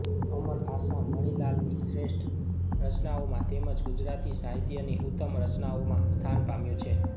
અમર આશા મણિલાલની શ્રેષ્ઠ રચનાઓમાં તેમજ ગુજરાતી સાહિત્યની ઉત્તમ રચનાઓમાં સ્થાન પામ્યું છે